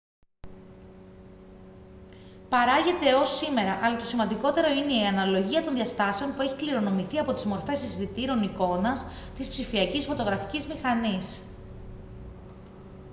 παράγεται έως σήμερα αλλά το σημαντικότερο είναι η αναλογία των διαστάσεων που έχει κληρονομηθεί από τις μορφές αισθητήρων εικόνας της ψηφιακής φωτογραφικής μηχανής